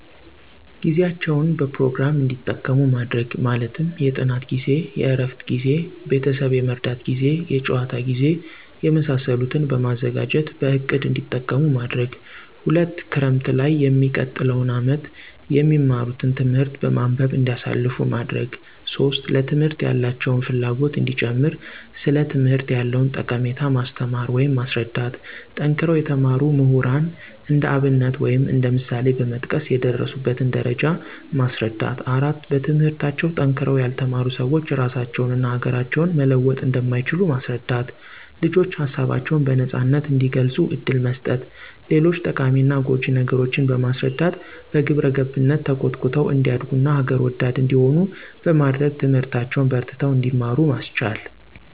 ጊዜያቸዉን በፕሮግራም እዲጠቀሙ ማድረግ። ማለትም የጥናት ጊዜ፣ የእረፍት ጊዜ፣ ቤተሰብ የመርዳት ጊዜ፣ የጨዋታ ጊዜ፣ የመሳሰሉትን በማዘጋጀትበእቅድ እንዲጠቀሙማድረግ። 2)ክረምትላይ የሚቀጥለዉን አመት የሚማትን ትምህርት በማንበብ እንዲያሳልፉ ማድረግ። 3)ለትምህርት ያላቸውን ፍላጎት እንዲጨምር ሥለትምህርት ያለዉንጠቀሜታ ማስተማር ወይም ማስረዳት። ጠንክረው የተማሩ ምሁራን እንደአብነት ወይም እንደ ምሳሌበመጥቀስ የደረሱበትን ደረጃ ማስረዳት። 4)በትምህርታቸዉ ጠንክረዉ ያልተማሩ ስዎች ራሳቸውን እና ሀገራቸውን መለወጥ እንደማይችሉ ማስረዳት። ልጆች ሀሳባቸውን በነጻነት እንዲገልጹ እድል መስጠት። ሌጆች ጠቃሚና ጎጅ ነገሮችን በማስረዳት በግብረገብነት ተኮትኩተው እንዲያደርጉ ና ሀገር ወዳድ እንዲሆኑ በማድረግ ትምህርታቸዉን በርትተው እንዲማሩ ማስቻል።